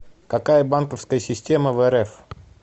какая банковская система в рф